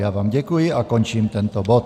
Já vám děkuji a končím tento bod.